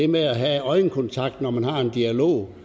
med at have øjenkontakt når man har en dialog